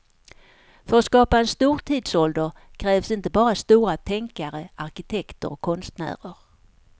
För att skapa en stor tidsålder krävs inte bara stora tänkare, arkitekter och konstnärer.